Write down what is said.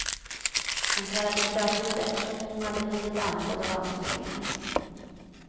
Hon talade stötvis eftersom hon hade blivit andfådd av ansträngningen.